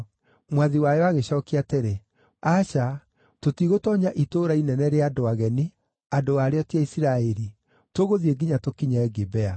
Mwathi wayo agĩcookia atĩrĩ, “Aca. Tũtigũtoonya itũũra inene rĩa andũ ageni, andũ a rĩo ti Aisiraeli. Tũgũthiĩ nginya tũkinye Gibea.”